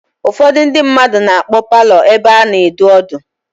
Ụfọdụ ndị mmadụ na-akpọ paalọ ebe a na-edu ọdụ.